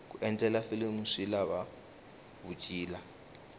ku endla filimu swi lava vutshila